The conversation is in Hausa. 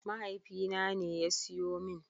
Mahaifina ne ya siyo min.